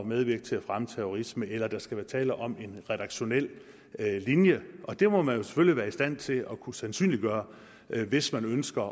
medvirke til at fremme terrorisme eller at der skal være tale om en redaktionel linje og det må man jo selvfølgelig være i stand til at kunne sandsynliggøre hvis man ønsker